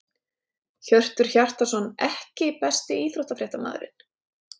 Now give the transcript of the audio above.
Hjörtur Hjartarson EKKI besti íþróttafréttamaðurinn?